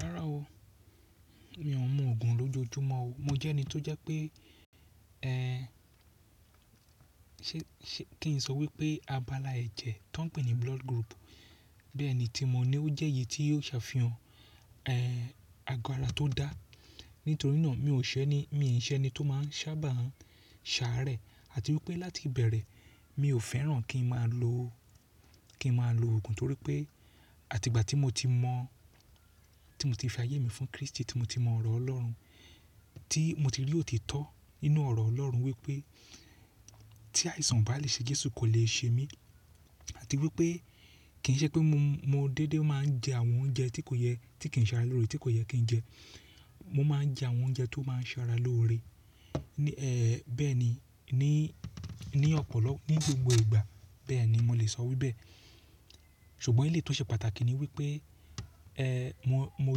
Rará o, mi ò ń mu òògùn lójoojúmọ́ o. Mo jẹ́ ẹni tó jẹ́ pé, kí n sọ wípé abala ẹ̀jẹ̀ tó ń pè ní blood group, bẹ́ẹ̀ ni tí mo ní ó jẹ́ èyí tí yóò sàfihàn, e, agọ ara tó dá. Nítorí náà mi ò ń ṣẹ́ ni, mi ò ń ṣẹ́ ẹni tó máa ń sábà ń ṣàárẹ̀ àti wípé láti ìbẹ̀rẹ̀ mi ò fẹ́ràn kí n máa lo, kí n máa lo òògùn torí pé àti ìgbà tí mo ti mọ̀, tí mo ti fi ayé mi fún Kristi tí mo ti mọ ọ̀rọ̀ Ọlọ́run tí mo ti rí òtítọ́ nínú ọ̀rọ̀ Ọlọ́run wípé tí àìsàn bá lè ṣe Jésù kò lè ṣe mí àti wípé kì ń ṣe pé mo, mo dédé máa ń jẹ àwọn oúnjẹ tí kò yẹ, tí kì ń ṣe ara lóore tí kò yẹ kí n jẹ. Mo máa ń jẹ àwọn oúnjẹ tó máa ń ṣe ara lóore. Bẹ́ẹ̀ni ní ọ̀pọ̀lọpọ̀, ní gbogbo ìgbà bẹ́ẹ̀ni mo lè sọ wíbẹ. Ṣùgbọ́n ilé tó ṣe pàtàkì ni wípé, mo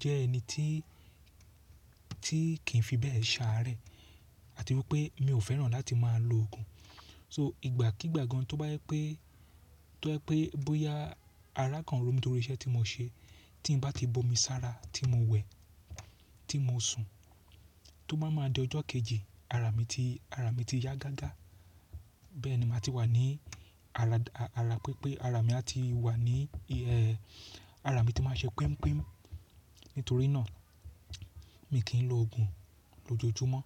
jẹ́ ẹni tí, tí kì ń fi bẹ́ẹ̀ ṣàárẹ̀ àti wípé mi ò fẹ́ràn láti máa lo òògùn. So ìgbà kígbà gan tó bá jẹ pé, tó jẹ pé bóyá ara kan ro mi torí iṣẹ́ tí mo ṣe, tí n bá ti bomi sára tí mo wẹ̀, tí mo sùn, tó bá máa di ọjọ́ kejì ara mi ti, ara mi ti yá gágá. Bẹ́ẹ̀ni màá ti wà ní ara, ara pé pé ara mi a ti wà ní, ara mi ti máa ṣe pemupemu. Nítorí náà mi kìí lo òògùn lójoojúmọ́.